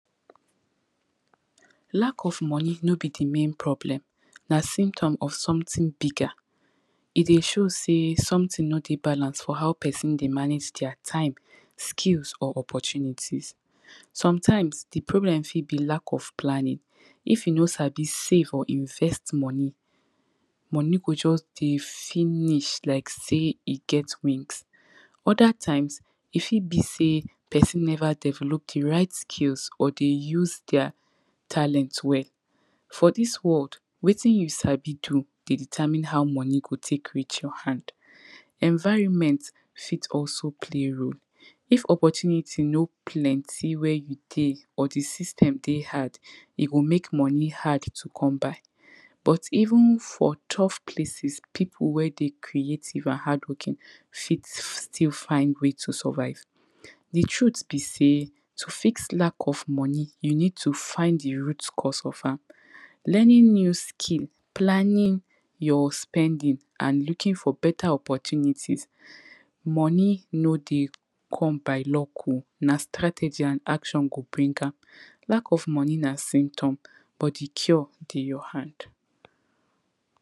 Lack of money no be di main problem na symptom of sometin bigger, e dey show sey sometin no dey balance for how pesin dey manage dia time, skills or opportunities. Sometimes di problem fit be lack of planning, if you no sabi save or invest money, money go just dey finish like sey e get wind, oda times e fit be sey pesin nover develop di right skills or dey use dia talent well. For dis world wetin you sabi do dey determine how money go take reach your hand, environment fit also play role, if opportunity no plenty where you dey or di system dey hard e go make money hard to come by but even for top places pipu wey dey creative and hardworking fit still find way to survive. Di truth be sey to fit lack of money you need to find di root cause of am, learning new skill, planning your spending and looking for better opportunities, money no dey come by luck oh, na strategy and action go bring am. Lack of money na system but di cure dey your hand.